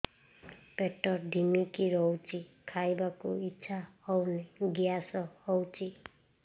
ପେଟ ଢିମିକି ରହୁଛି ଖାଇବାକୁ ଇଛା ହଉନି ଗ୍ୟାସ ହଉଚି